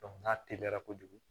n'a teliyara kojugu